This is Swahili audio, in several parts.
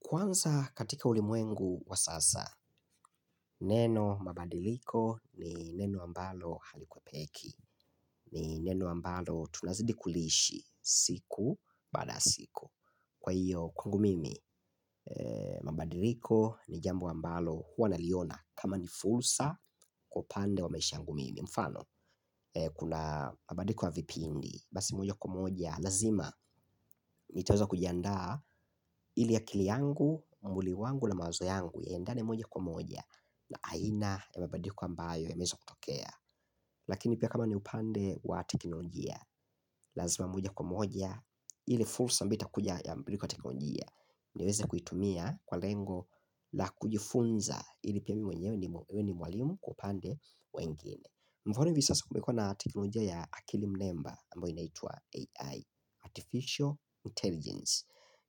Kwanza katika ulimwengu wa sasa, neno mabadiliko ni neno ambalo halikuwa peki. Ni neno ambalo tunazidi kuliishi siku baada ya siku. Kwa hiyo kwangu mimi, mabadiliko ni jambo ambalo huwa naliona kama ni fursa kwa upande wa maisha yangu mimi. Mfano, kuna mabadiliko ya vipindi, basi moja kwa moja, lazima nitaweza kujiandaa ili akili yangu, mwlii wangu na mawazo yangu ya endane moja kwa moja na aina ya mabadiliko ambayo yameweza kutokea lakini pia kama ni upande wa teknolojia lazima moja kwa moja ile fursa ambayo itakuja ya mbadiliko katika teknolojia niweze kuitumia kwa lengo la kujifunza ili pia mwenyewe ni mwalimu kwa upande wengine mfano hivi sasa kumekuwa na teknolojia ya akili mnemba ambayo inaitwa AI Artificial Intelligence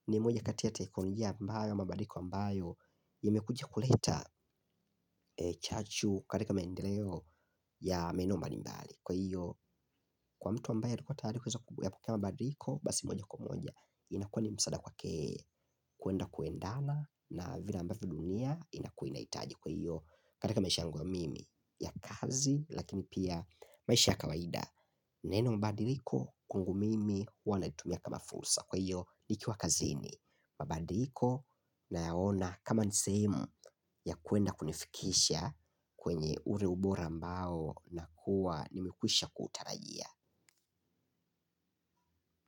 ni moja katia ya teknolojia ambayo mabadiliko ambayo imekuja kuleta chachu katika maendeleo ya maeneo mbalimbali kwa hiyo kwa mtu ambaye alikuwa tayari kuweza ya kufanya mabadiliko basi moja kwa moja inakuwa ni msaada kwake kwenda kwendala na vile ambavyo dunia inakuwa inahitaji kuio katika maisha yangu mimi ya kazi lakini pia maisha ya kawaida. Neno badiliko kwangu mimi huwa naitumia kama fursa. Kwa hiyo nikiwa kazini mababadiko na yaona kama ni sehemu ya kwenda kunifikisha kwenye ule ubora ambao nakuwa nimekwisha kutarajia.